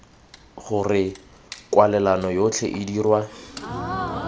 gore kwalelano yotlhe e dirwa